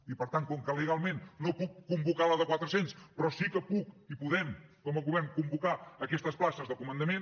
i per tant com que legalment no puc convocar la de quatre cents però sí que puc i podem com a govern convocar aquestes places de comandament